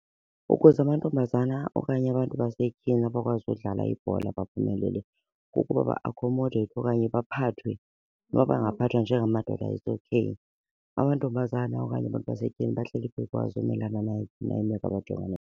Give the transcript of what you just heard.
Ukuze amantombazana okanye abantu basetyhini abakwazi udlala ibhola baphumelele kukuba ba-akhomodeyithwe okanye baphathwe noba bangaphathwa njengamadoda it's okay. Amantombazana okanye abantu basetyhini bahleli bekwazi umelana nayiphi na imeko abajongene.